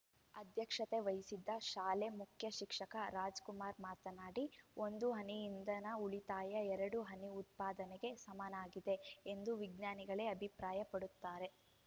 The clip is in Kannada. ಅಧ್ಯಕ್ಷತೆ ವಹಿಸಿದ್ದ ಶಾಲೆ ಮುಖ್ಯ ಶಿಕ್ಷಕ ರಾಜಕುಮಾರ್‌ ಮಾತನಾಡಿ ಒಂದು ಹನಿ ಇಂಧನ ಉಳಿತಾಯ ಎರಡು ಹನಿ ಉತ್ಪಾದನೆಗೆ ಸಮವಾಗಿದೆ ಎಂದು ವಿಜ್ಞಾನಿಗಳೇ ಅಭಿಪ್ರಾಯಪಡುತ್ತಾರೆ